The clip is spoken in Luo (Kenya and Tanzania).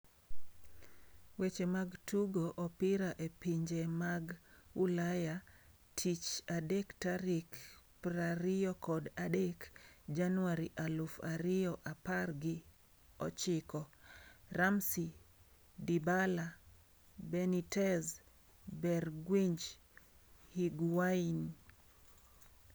Weche mag Tugo Opira e Pinje mag Ulaya Tich adek tarik prariyokod adek januari aluf ariyoapar gi ochiko: Ramsey, Dybala, Benitez, Bergwijn, Higuain